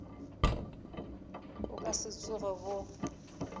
bo ka se tsoge bo